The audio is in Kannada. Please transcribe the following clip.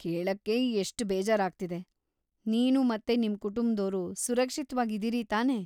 ಕೇಳಕ್ಕೇ ಎಷ್ಟ್ ಬೇಜಾರಾಗ್ತಿದೆ.. ನೀನು ಮತ್ತೆ ನಿಮ್‌ ಕುಟುಂಬ್ದೋರು ಸುರಕ್ಷಿತ್ವಾಗಿದೀರಿ ತಾನೇ?